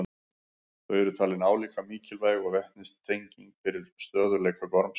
Þau eru talin álíka mikilvæg og vetnistengin fyrir stöðugleika gormsins.